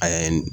A ye